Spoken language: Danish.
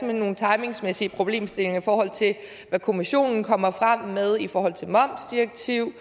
er nogle timingsmæssige problemstillinger i forhold til hvad kommissionen kommer frem med i forhold til momsdirektiv